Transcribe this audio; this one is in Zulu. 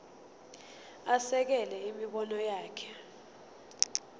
asekele imibono yakhe